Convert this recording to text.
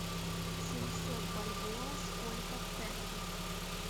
семьсот бальбоа сколько в тенге